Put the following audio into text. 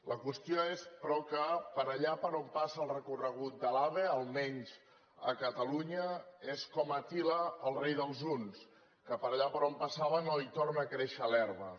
la qüestió és però que per allà per on passa el recorregut de l’ave almenys a catalunya és com àtila el rei dels huns que per allà per on passava no hi torna a créixer l’herba